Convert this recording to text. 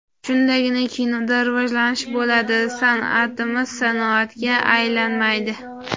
Shundagina kinoda rivojlanish bo‘ladi, san’atimiz sanoatga aylanmaydi.